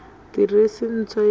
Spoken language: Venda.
ḓiresi ntswa ya hu ne